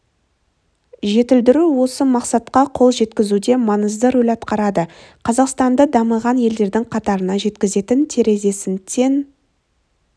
жетілдіру осы мақсатқа қол жеткізуде маңызды рөл атқарады қазақстанды дамыған елдердің қатарына жеткізетін терезесін тең